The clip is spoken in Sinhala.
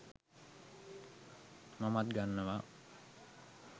මමත් ගන්නවා